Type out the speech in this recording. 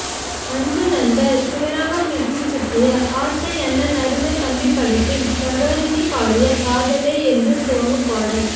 அன்பு நண்பர் சிவராமகிருஷ்ணன் சுட்டிய ஆசை அண்ணா அருமைத் தம்பி படத்தில் சரோஜினி பாடிய காதலே என்று துவங்கும் பாடல்